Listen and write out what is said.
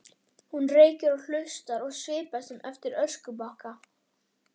Hún reykir og hlustar og svipast um eftir öskubakka.